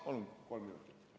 Palun kolm minutit!